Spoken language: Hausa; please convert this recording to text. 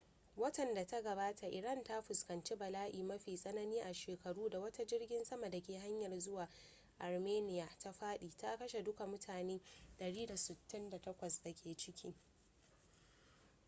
watan da ta gabata iran ta fuskanci bala'i mafi tsanani a shekaru da wata jirgin sama da ke hanyar zuwa armenia ta fadi ta kashe duka mutane 168 da ke ciki